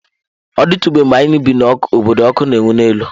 Ọ dịtụbeghị mgbe anyị bi n’obodo ọkụ na-enwu n'elu.